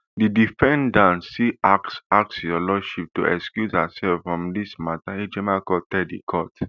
di defendant still ask ask your lordship to excuse herself from dis mata ejimakor tell di court